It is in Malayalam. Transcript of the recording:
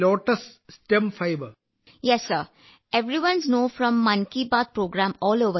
വിജയശാന്തി അതെ സർ മൻ കി ബാത്ത് പരിപാടിയിൽ നിന്ന് ഇന്ത്യയിലുടനീളമുള്ള എല്ലാവർക്കും അറിയാം